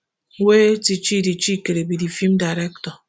wey tchidi chikere be di feem director